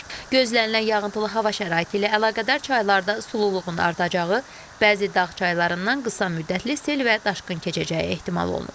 Gözlənilən yağıntılı hava şəraiti ilə əlaqədar çaylarda sulluluğun artacağı, bəzi dağ çaylarından qısa müddətli sel və daşqın keçəcəyi ehtimal olunur.